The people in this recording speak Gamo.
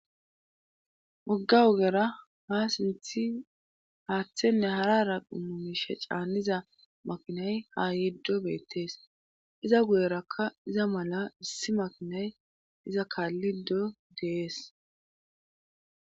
Wogga wogera ha sinthi haaththenne harara qummumishe caanniza makinay ha yiddo beettees iza guyerakka iza mala issi makinay iza kaalli do dees.